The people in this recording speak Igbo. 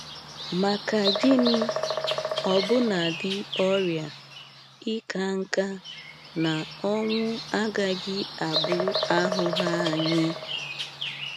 Maka gịnị, ọbụnadi ọrịa, ịka nka, na ọnwụ agaghị abụ ahụhụ anyị!